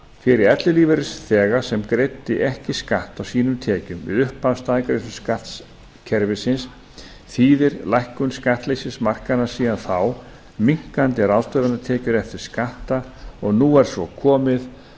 fyrir ellilífeyrisþega sem greiddi ekki skatt af sínum tekjum við upphaf staðgreiðsluskattkerfisins þýðir lækkun skattleysismarkanna síðan þá minnkandi ráðstöfunartekjur eftir skatta og nú er svo komið